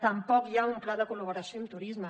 tampoc hi ha un pla de col·laboració amb turisme